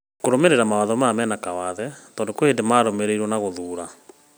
Kũrũmĩrĩra mawatho maya mena kawathe tondũ kwĩ hĩndĩ mararũmĩrĩrwo na gũthuura.